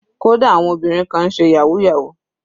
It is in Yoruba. Kódà àwọn obìnrin kan náà ń ṣe yahoo yahoo.